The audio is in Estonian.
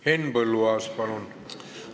Henn Põlluaas, palun!